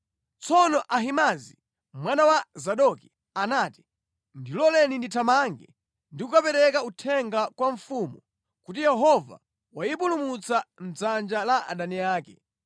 Tsono Ahimaazi mwana wa Zadoki anati, “Ndiloleni ndithamange ndi kukapereka uthenga kwa mfumu kuti Yehova wayipulumutsa mʼdzanja la adani ake.”